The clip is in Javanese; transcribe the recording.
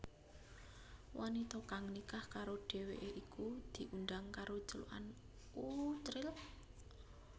Wanita kang nikah karo dheweké iku diundhang karo celukan Uchril